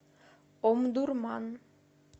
омдурман